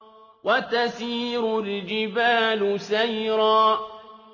وَتَسِيرُ الْجِبَالُ سَيْرًا